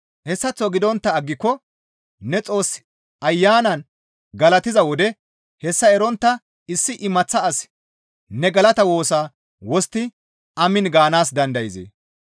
Hessaththo gidontta aggiko ne Xoos Ayanan galatiza wode hessa erontta issi imaththa asi ne galata woosaa wostti, «Amiin» gaanaas dandayzee?